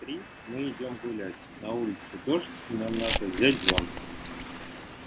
в три мы идём гулять на улице дождь и нам надо взять зонт